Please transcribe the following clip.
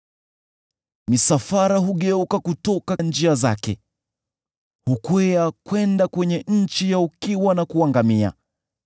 Misafara hugeuka kutoka njia zake; hukwea kwenda kwenye nchi ya ukiwa na kuangamia.